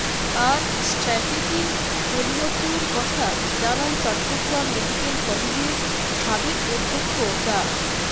আর strategy পরিবর্তনের কথা জানান চট্টগ্রাম মেডিকেল কলেজের সাবেক অধ্যক্ষ ডা